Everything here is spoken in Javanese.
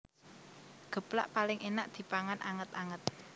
Geplak paling énak dipangan anget anget